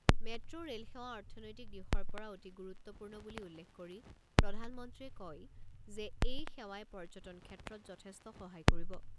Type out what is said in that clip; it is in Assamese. মেট্ ৰেল সেৱা অৰ্থনৈতিক দিশৰ পৰা অতি গুৰুত্বপূৰ্ণ বুলি উল্লেখ কৰি প্ৰধানমন্ত্ৰীয়ে কয় যে এই সেৱাই পৰ্যটন ক্ষেত্ৰত যথেষ্ট সহায় কৰিব।